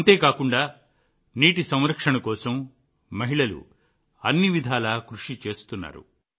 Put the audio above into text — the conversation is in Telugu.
అంతే కాకుండా నీటి సంరక్షణ కోసం మహిళలు అన్ని విధాలా కృషి చేస్తున్నారు